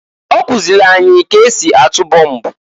Ọkụzịlị anyị k'esi atụ bomb.